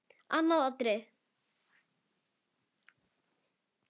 Annað atriði.